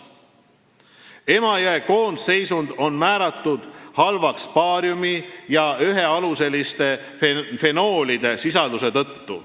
Emajõe koondseisund on hinnatud halvaks baariumi ja ühealuseliste fenoolide sisalduse tõttu.